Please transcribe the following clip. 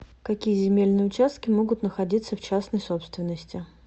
какие земельные участки могут находиться в частной собственности